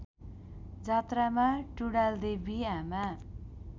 जात्रामा टुँडालदेवी आमा